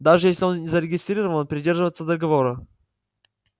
даже если он зарегистрирован и придерживается договора